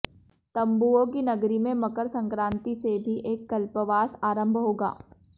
तंबुओं की नगरी में मकर संक्रांति से भी एक कल्पवास आरंभ होगा